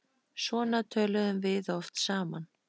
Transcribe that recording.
Svona töluðum við oft saman.